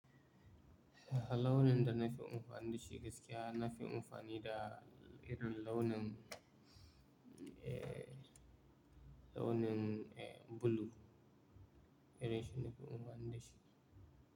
Eh launin da na fi amfani da shi gaskiya, na fi amfani da irin launin, eh, launin, eh, blue. Irin shi na fi amfani da shi.